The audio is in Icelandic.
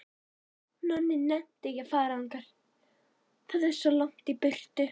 Nonni nennti ekki að fara þangað, það var svo langt í burtu.